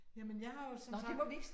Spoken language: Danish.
Jamen jeg har jo som sagt